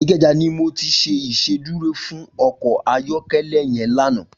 Ikeja ni mó ti ṣé Ìṣédùró fún ọkọ ayọkẹlẹ yèn lànã